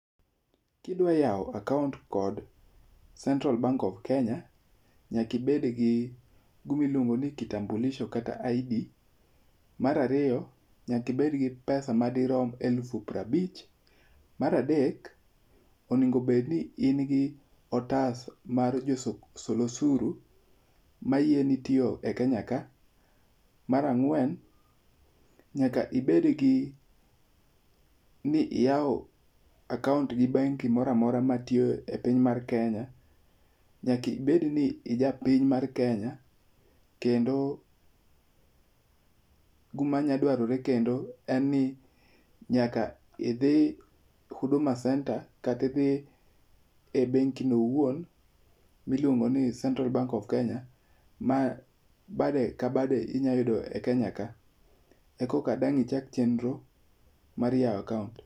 Ka idwa yawo akaont kod Central Bank of Kenya, nyaka ibed gi gima iluongo ni kitambuliso kata ID, Mar ariyo, nyaka ibed gi pesa madirom elufu piero abich, mar adek onego bed ni in kod otas mar jo sol osuru mayieni tiyo e Kenya ka. Mar ang'wen nyaka ibed gi ni iyawo akaont gi bengi moro amora matiyo e piny mar Kenya, nyaka ibed ni ija piny mar Kenya, kendo gima nyalo dwarre kendo en ni nyaka idhi Huduma Centre kata idhi e bengi no owuon miluongo ni Central Bank of Kenya ma bade ka bade inyalo yudo e Kenya ka eka dang' ichak chenro mar yawo akaont.